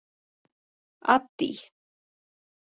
Addý